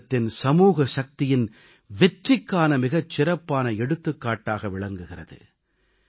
பாரதத்தின் சமூக சக்தியின் வெற்றிக்கான மிகச் சிறப்பான எடுத்துக்காட்டாக விளங்குகிறது